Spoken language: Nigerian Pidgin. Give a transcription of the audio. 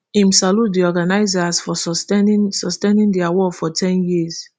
im salute di organisers for sustaining sustaining di award for ten years